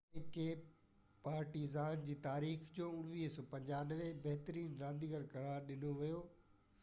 1995 ۾ کي پارٽيزان جي تاريخ جو بهترين رانديگر قرار ڏنو ويو